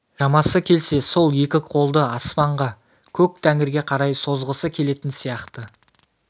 шамасы келсе сол екі қолды аспанға көк тәңірге қарай созғысы келетін сияқты